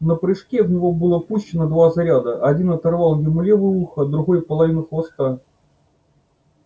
на прыжке в него было пущено два заряда один оторвал ему левое ухо другой половину хвоста